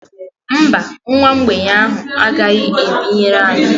Mba, nwa mgbei ahụ a gaghị ebinyere anyị